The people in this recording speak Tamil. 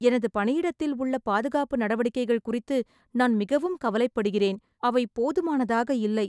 எனது பணியிடத்தில் உள்ள பாதுகாப்பு நடவடிக்கைகள் குறித்து நான் மிகவும் கவலைப்படுகிறேன். அவை போதுமானதாக இல்லை.